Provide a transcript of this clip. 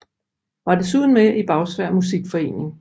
Var desuden med i Bagsværd Musikforening